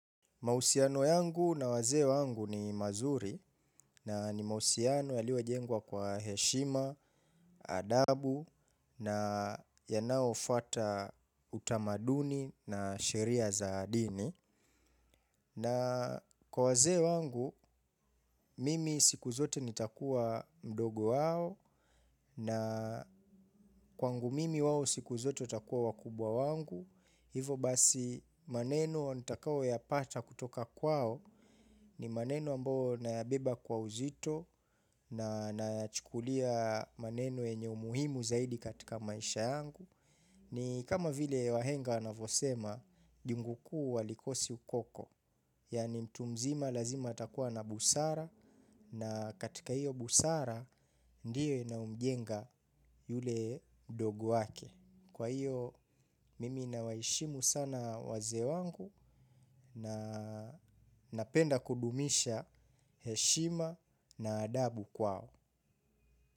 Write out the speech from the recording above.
Mahusiano yangu na wazee wangu ni mazuri na ni mahusiano yaliyojengwa kwa heshima, adabu na yanayofuata utamaduni na sheria za dini. Na kwa wazee wangu, mimi siku zote nitakuwa mdogo wao na kwangu mimi wao siku zote watakuwa wakubwa wangu. Hivo basi maneno nitakao yapata kutoka kwao ni maneno ambao nayabeba kwa uzito na nayachukulia maneno yenye umuhimu zaidi katika maisha yangu. Ni kama vile wahenga wanavyosema, jungu kuu halikosi ukoko. Yani mtu mzima lazima atakuwa na busara na katika hiyo busara ndiye inayomjenga yule mdogo wake. Kwa hiyo, mimi na waheshimu sana wazee wangu na napenda kudumisha heshima na adabu kwao.